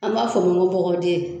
An b'a fɔ nko bɔgɔden